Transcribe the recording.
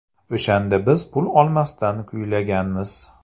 O‘shanda biz pul olmasdan kuylaganmiz.